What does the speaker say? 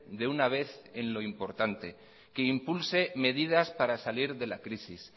de una vez en lo importante que impulse medidas para salir de la crisis